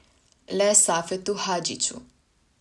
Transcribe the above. Le Safetu Hadžiću!